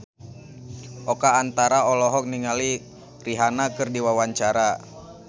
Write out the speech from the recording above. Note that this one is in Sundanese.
Oka Antara olohok ningali Rihanna keur diwawancara